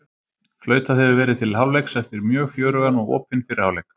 Flautað hefur verið til hálfleiks eftir mjög fjörugan og opinn fyrri hálfleik!